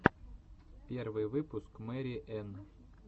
первый выпуск мэри энн